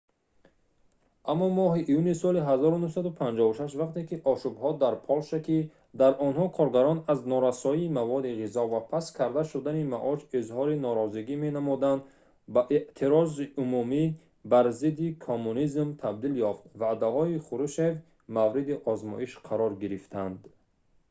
аммо моҳи июни соли 1956 вақте ки ошӯбҳо дар полша ки дар онҳо коргарон аз норасоии маводи ғизо ва паст карда шудани маош изҳори норозигӣ менамуданд ба эътирози умумӣ бар зидди коммунизм табдил ёфт ваъдаҳои хрушщев мавриди озмоиш қарор гирифтанд